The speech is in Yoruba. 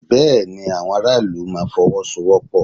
Bẹ́ẹ̀ ni, àwọn ará ìlú máa Fọwọ́sowọ́pọ̀